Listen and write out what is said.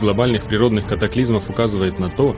глобальных природных катаклизмов указывает на то